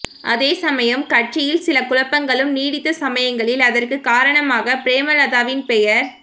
அதே சமயம் கட்சியில் சில குழப்பங்களும் நீட்டித்த சமயங்களில் அதற்கு காரணமாக பிரேமலதாவின் பெயர்